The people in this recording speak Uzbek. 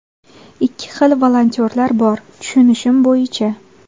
Ikki xil volontyorlar bor, tushunishim bo‘yicha.